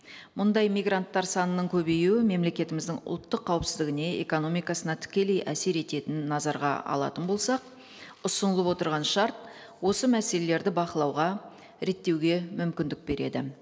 мұндай мигранттар санының көбеюі мемлекетіміздің ұлттық қауіпсіздігіне экономикасына тікелей әсер ететінін назарға алатын болсақ ұсынылып отырған шарт осы мәселелерді бақылауға реттеуге мүмкіндік береді